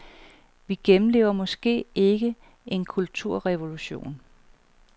Vi gennemlever måske ikke en kulturrevolution.